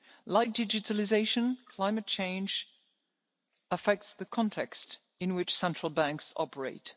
world. Like digitalisation, climate change affects the context in which central banks operate.